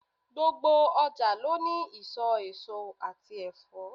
Gbogbo ọjà ló ní ìsò èso àti Ẹ̀fọ́.